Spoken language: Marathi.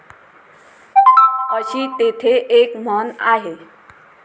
अशी तेथे एक म्हण आहे.